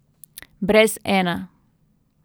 Brez Ena.